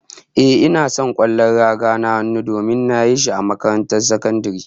Ehh, ina son kwallon raga na hannun, domin nayi shi a makarantar sakandare